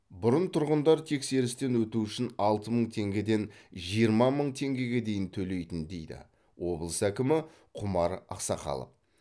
бұрын тұрғындар тексерістен өту үшін алты мың теңгеден жиырма мың теңгеге дейін төлейтін дейді облыс әкімі құмар ақсақалов